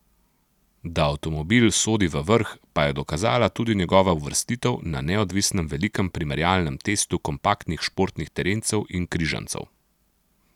Da avtomobil sodi v vrh, pa je dokazala tudi njegova uvrstitev na neodvisnem velikem primerjalnem testu kompaktnih športnih terencev in križancev.